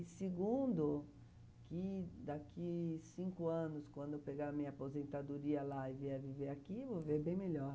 Segundo, que daqui cinco anos, quando eu pegar minha aposentadoria lá e vier viver aqui, eu vou ver bem melhor.